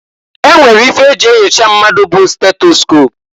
E nwere ife e ji enyocha mmadụ bụ stetoscop.